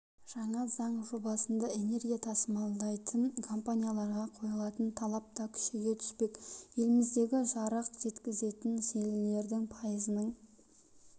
жаңа заң жобасында энергия тасымалдайтын компанияларға қойылатын талап та күшейе түспек еліміздегі жарық жеткізетін желілердің пайызының